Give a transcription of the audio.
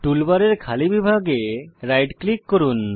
টুলবারের খালি বিভাগে রাইট ক্লিক করুন